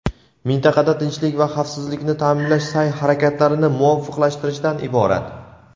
mintaqada tinchlik va xavfsizlikni ta’minlash sa’y-harakatlarini muvofiqlashtirishdan iborat.